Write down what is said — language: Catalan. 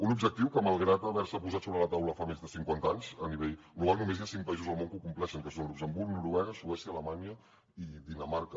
un objectiu que malgrat haver se posat sobre la taula fa més de cinquanta anys a nivell global només hi ha cinc països al món que ho compleixen que són luxemburg noruega suècia alemanya i dinamarca